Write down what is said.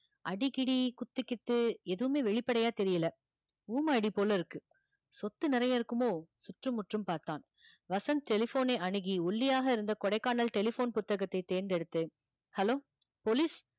அடி கிடி, குத்து கித்து எதுவுமே வெளிப்படையா தெரியலே ஊமையடி போல இருக்கு சொத்து நிறைய இருக்குமோ சுற்றும் முற்றும் பார்த்தான் வசந்த் telephone ஐ அணுகி ஒல்லியாக இருந்த கொடைக்கானல் telephone புத்தகத்தை தேர்ந்தெடுத்து hello police